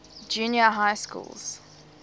junior high schools